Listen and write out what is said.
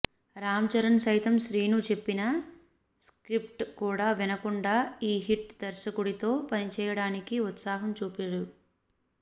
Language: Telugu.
రామ్ చరణ్ సైతం శ్రీను చెప్పిన స్క్రిప్ట్ కూడా వినకుండా ఈ హిట్ దర్శకుడితో పనిచేయడానికి ఉత్సాహం చూపాడు